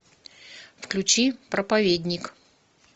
включи проповедник